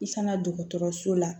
I kana dɔgɔtɔrɔso la